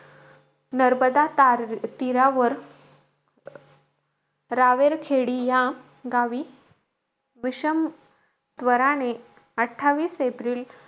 नर्मदा तार तीरावर रावेरखेडी या गावी विषम ज्वराने अठ्ठावीस एप्रिल,